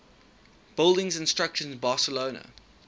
buildings and structures in barcelona